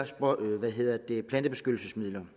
plantebeskyttelsesmidler